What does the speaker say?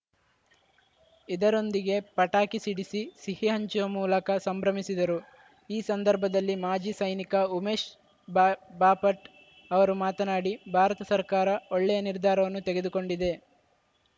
ಇದರೊಂದಿಗೆ ಪಟಾಕಿ ಸಿಡಿಸಿ ಸಿಹಿ ಹಂಚುವ ಮೂಲಕ ಸಂಭ್ರಮಿಸಿದರು ಈ ಸಂದರ್ಭದಲ್ಲಿ ಮಾಜಿ ಸೈನಿಕ ಉಮೇಶ್‌ ಬಾ ಬಾಪಟ್‌ ಅವರು ಮಾತನಾಡಿ ಭಾರತ ಸರ್ಕಾರ ಒಳ್ಳೆಯ ನಿರ್ಧಾರವನ್ನು ತೆಗೆದುಕೊಂಡಿದೆ